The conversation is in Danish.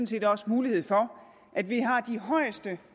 set også mulighed for at vi har de højeste